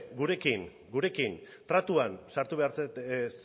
gurekin tratuan sartu behar